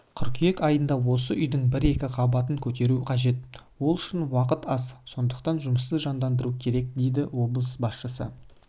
қыркүйек айында осы үйдің бір-екі қабатын көтеру қажет ол үшін уақыт аз сондықтан жұмысты жандандыру керек дейді облыс басшысы